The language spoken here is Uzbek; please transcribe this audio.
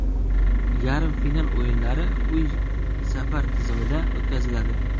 Yarim final o‘yinlari uy-safar tizimida o‘tkaziladi.